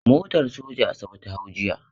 Motar soja Asabe ta hau jiya.